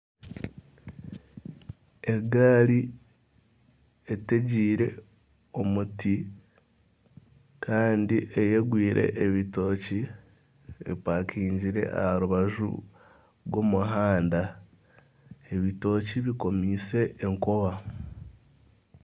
Egaari etegiire omuti Kandi eyegwiire ebitookye epakingire aha rubaju rw'omuhanda ebitookye bikomeise enkoba